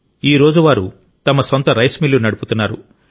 ఈ రోజు వారు తమ సొంత రైస్ మిల్లు నడుపుతున్నారు